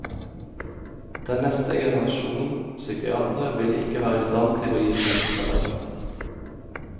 Den neste generasjonen psykiatere vil ikke være i stand til å gi psykoterapi.